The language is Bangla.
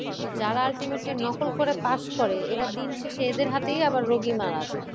তো যারা ultimately নকল করে pass করে এরা দিনশেষে এদের হাতেই আবার রোগী মারা যায়